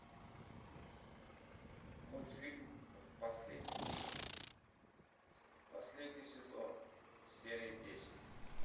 мультфильм в последний миг последний сезон серия десять